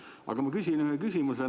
Aga ma küsin ühe küsimuse.